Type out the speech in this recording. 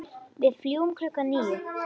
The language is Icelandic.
Ills viti